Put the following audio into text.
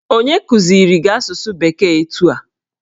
Onye kụziri gị asụsụ bekee etu a?